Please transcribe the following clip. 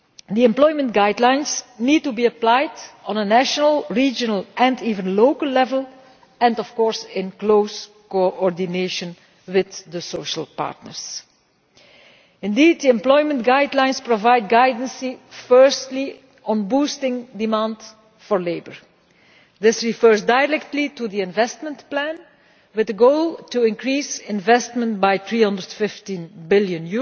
The employment guidelines need to be applied on a national, regional and even local level and, of course, in close coordination with the social partners. Indeed, the employment guidelines provide guidance firstly on boosting demand for labour. This refers directly to the investment plan, with the goal to increase investment by EUR 315 billion